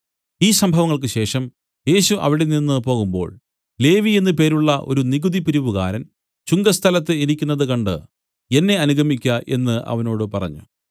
ഈ സംഭവങ്ങൾക്ക് ശേഷം യേശു അവിടെനിന്നു പോകുമ്പോൾ ലേവി എന്നു പേരുള്ള ഒരു നികുതി പിരിവുകാരൻ ചുങ്കസ്ഥലത്ത് ഇരിക്കുന്നത് കണ്ട് എന്നെ അനുഗമിക്ക എന്നു അവനോട് പറഞ്ഞു